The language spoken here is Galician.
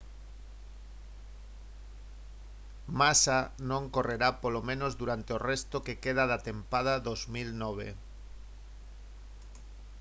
massa non correrá polo menos durante o resto que queda da tempada 2009